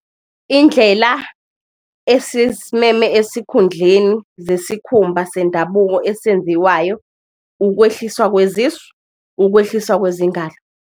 Indlela esisimeme esikhundleni zesikhumba sendabuko esenziwayo ukwehliswa kwezisu, ukwehliswa kwezingalo.